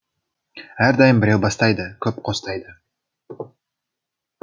әрдайым біреу бастайды көп қостайды